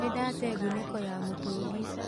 Nĩndatee ngunĩko ya mũtũngi